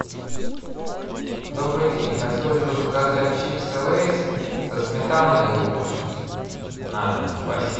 добрый день хотелось бы заказать чипсы лейс со сметаной и луком на дом спасибо